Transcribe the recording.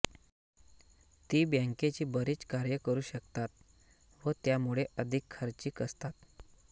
ती बँकेची बरीच कार्ये करू शकतात व त्यामुळे अधिक खर्चिक असतात